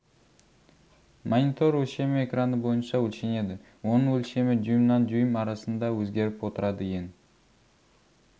монитор өлшемі экраны бойынша өлшенеді оның өлшемі дюймнан дюйм арасында өзгеріп отырады ең